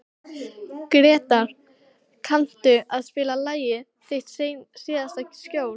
Gretar, kanntu að spila lagið „Þitt síðasta skjól“?